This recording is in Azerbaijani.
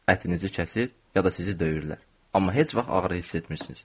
Ətinizi kəsir, ya da sizi döyürlər, amma heç vaxt ağrı hiss etmirsiniz.